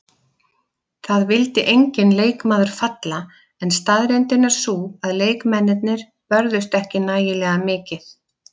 Það vildi enginn leikmaður falla en staðreyndin er sú að leikmennirnir börðust ekki nægilega mikið.